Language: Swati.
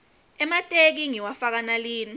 emateki ngiwafaka nalina